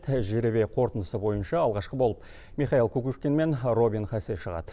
тәжіребе қорытындысы бойынша алғашқы болып михаил кукушкин мен робин хасе шығады